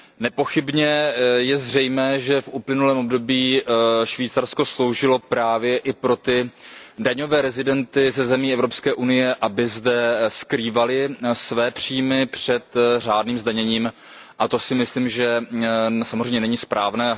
Nepochybně je zřejmé, že v uplynulém období Švýcarsko sloužilo právě i těm daňovým rezidentům ze zemí Evropské unie, kteří zde skrývali své příjmy před řádným zdaněním, a to si myslím, že samozřejmě není správné.